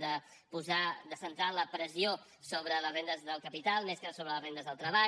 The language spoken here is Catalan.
de posar de centrar la pressió sobre les rendes del capital més que sobre les rendes del treball